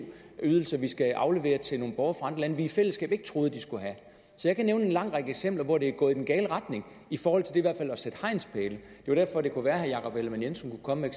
ydelser vi skal aflevere til nogle borgere vi i fællesskab ikke troede de skulle have så jeg kan nævne en lang række eksempler hvor det er gået i den gale retning i forhold til i hvert at sætte hegnspæle det var derfor det kunne være at herre jakob ellemann jensen kunne komme